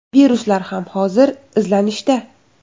Viruslar ham hozir izlanishda.